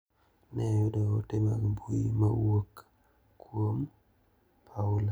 Ne oyudo ote mag mbui ma owuok kuom Paula.